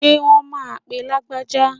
Ṣé wón máa pe Lágbájá?